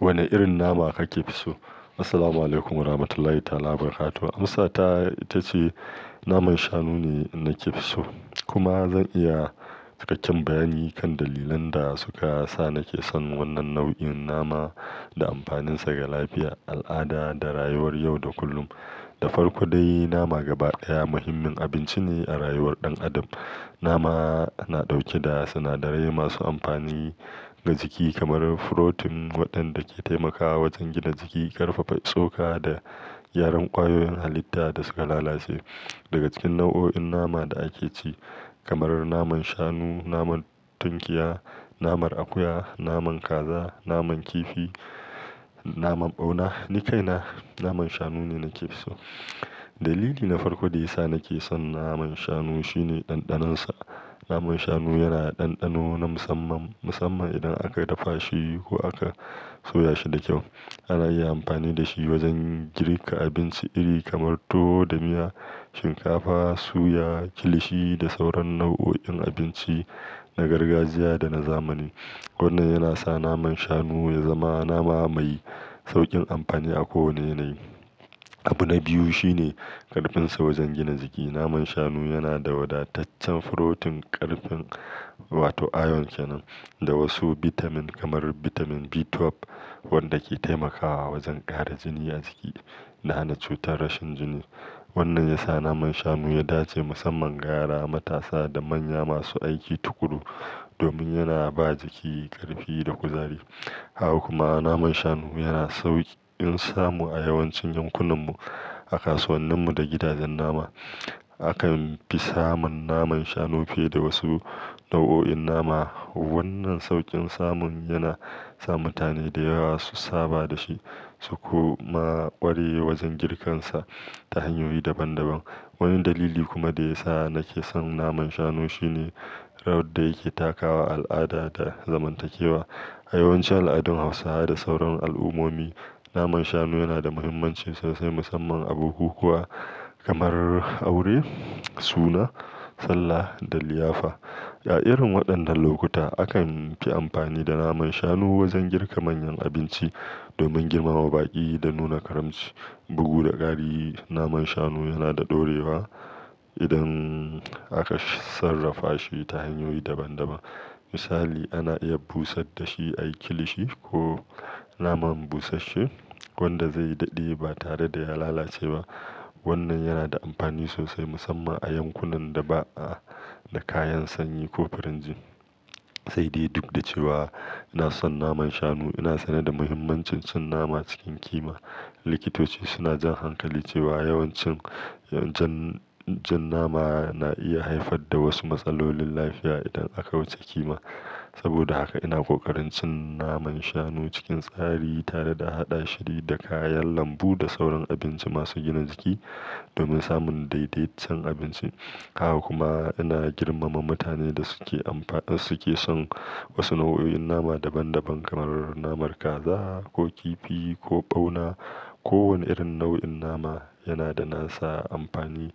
Wane irin nama kake fi so? Assalamualaikum warahmatullahi wabarakatuh. Amsa ta ita ce naman shanu ne nake fi so. Kuma zan iya cikakken bayani kan dalilan da suka sa nake son wannan nau'in nama da amfaninsa ga lafiya, al'ada da rayuwar yau da kullum. Da farko dai, nama gaba ɗaya muhimmin abinci ne a rayuwar ɗan adam. Nama na ɗauke da sinadarai masu amfani ga jiki kamar proteins waɗanda ke taimakawa wajen gina jiki, ƙarfafa tsoka da gyaran ƙwayoyin halitta da suka lalace. Daga cikin nau'o'in nama da ake ci kamar naman shanu, naman tunkiya, naman akuya, naman kaza, naman kifi, naman ɓauna, ni kaina naman shanu ne nake fi so. Dalili na farko da ya sa nake son naman shanu shine ɗanɗanonsa. Naman shanu yana da ɗanɗano na musamman, musamman idan aka dafa shi ko aka soya shi da kyau. Ana iya amfani da shi wajen girka abinci iri kamar tuwo da miya, shinkafa, suya, kilishi da sauran nau'o'in abinci na gargajiya da na zamani. Wannan yana sa naman shanu ya zama nama mai sauƙin amfani a ko wane nei. Abu na biyu shine ƙarfinsa wajen gina jiki. Naman shanu yana da wadataccen furotin ƙarfin wato iron ƙananan da wasu bitamin kamar bitamin B12 wanda ke taimakawa wajen ƙara jini a jiki da hana cutar rashin jini. Wannan ya sa naman shanu ya dace musamman ga yara, matasa da manya masu aiki tukuru domin yana ba jiki ƙarfi da kuzari. Haka kuma naman shanu yana sauƙi in samu a yawancin yankunanmu, a kasuwanninmu da gidajen nama. Akan fi samun naman shanu fiye da wasu nau'o'in nama. Wannan sauƙin samun yana sa mutane da yawa su saba da shi su kuma ƙware wajen girkansa ta hanyoyi daban-daban. Wani dalili kuma da ya sa nake son naman shanu shine rawar da yake takawa al'ada da zamantakewa. A yawancin al'adun Hausawa da sauran al'ummomi, naman shanu yana da muhimmanci sosai musamman a bukukuwa kamar aure, suna, sallah da liyafa. A irin waɗannan lokuta, akan fi amfani da naman shanu wajen girka manyan abinci domin girmama baƙi da nuna karamci. Bugu da ƙari, naman shanu yana da ɗorewa idan aka sarrafa shi ta hanyoyi daban-daban. Misali, ana iya busar da shi a yi kilishi ko naman busashe wanda zai daɗe ba tare da ya lalace ba. Wannan yana da amfani sosai musamman a yankunan da ba a da kayan sanyi ko firinji. Sai dai duk da cewa ina son naman shanu, ina sane da muhimmancin cin nama cikin kima. Likitoci suna jan hankali cewa yawancin jan nama na iya haifar da wasu matsalolin lafiya idan aka wuce kima. Saboda haka ina ƙoƙarin cin naman shanu cikin tsari tare da haɗa shi da kayan lambu da sauran abinci masu gina jiki domin samun daidaiton abinci. Haka kuma ina girmama mutanen da suke son wasu nau'o'in nama daban-daban kamar naman kaza ko kifi ko ɓauna. Kowane irin nau'in nama yana da nasa amfani.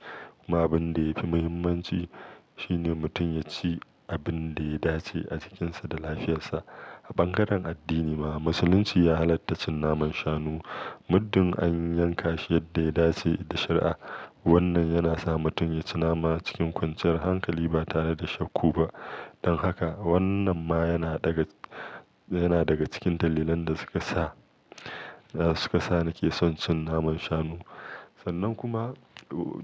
Kuma abin da ya fi muhimmanci shine mutum ya ci abin da ya dace a cikinsa da lafiyarsa. A bangaren addini ma, Musulunci ya halatta cin naman shanu muddin an yanka shi yadda ya dace da shari'a. Wannan yana sa mutum ya ci nama cikin kwanciyar hankali ba tare da shakka ba. Don haka wannan ma yana daga, yana daga cikin dalilan da suka sa, suka sa nake son cin naman shanu. Sannan kuma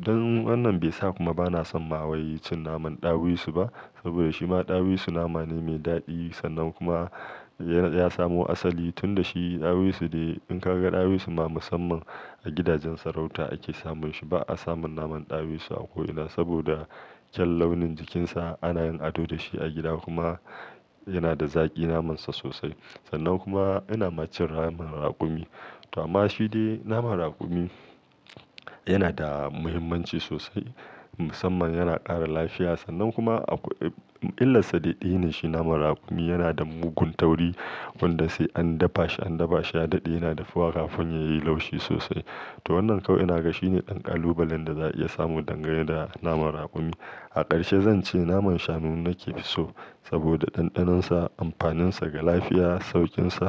don wannan bai sa kuma bana son ma waye cin naman ɗawisu ba saboda shi ma ɗawisu nama ne mai daɗi sannan kuma ya samu asali tun da shi ɗawisu ne. In ka ga ɗawisu ma musamman a gidajen sarauta ake samun shi. Ba a samun naman ɗawisu a ko ina saboda kyan launin jikinsa. Ana yin ado da shi a gida kuma yana da zaƙi namansa sosai. Sannan kuma ina ma cin naman raƙumi. To amma shi dai naman raƙumi yana da muhimmanci sosai musamman yana ƙara lafiya. Sannan kuma a illarsa daɗi ne shi. Naman raƙumi yana da mugun tauri wanda sai an dafa shi, an dafa shi ya daɗe yana dafuwa kafin ya yi laushi sosai. To wannan kawai ina ga shi ne ɗan ƙalubalen da za a iya samu dangane da naman raƙumi. A ƙarshe zan ce naman shanu nake fi so saboda ɗanɗanonsa, amfaninsa ga lafiya, sauƙinsa.